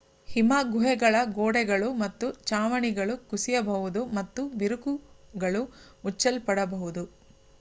ಹಿಮ ಗುಹೆಗಳ ಗೋಡೆಗಳು ಮತ್ತು ಛಾವಣಿಗಳು ಕುಸಿಯಬಹುದು ಮತ್ತು ಬಿರುಕುಗಳು ಮುಚ್ಚಲ್ಪಡಬಹುದು